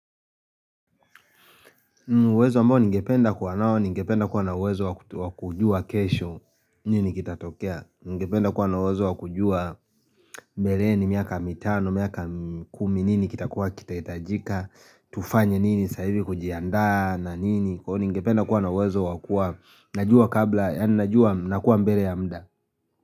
Uwezo ambao ningependa kuwa nao, ningependa kuwa na uwezo wa kujua kesho nini kitatokea. Ningependa kuwa na uwezo wa kujua mbeleni miaka mitano, miaka kumi nini kitakuwa kitahitajika tufanye nini sahii ili kujiandaa na nini ningependa kuwa na uwezo yaani najua nakuwa mbele ya muda.